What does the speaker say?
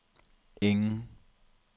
ingen